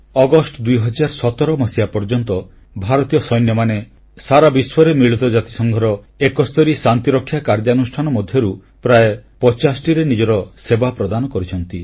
August 2017 ପର୍ଯ୍ୟନ୍ତ ଭାରତୀୟ ସୈନ୍ୟମାନେ ସାରା ବିଶ୍ୱରେ ମିଳିତ ଜାତିସଂଘର 71 ଟି ଶାନ୍ତିରକ୍ଷା କାର୍ଯ୍ୟାନୁଷ୍ଠାନ ମଧ୍ୟରୁ ପ୍ରାୟ 50ଟିରେ ନିଜର ସେବା ପ୍ରଦାନ କରିଛନ୍ତି